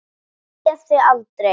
Ég sé þig aldrei.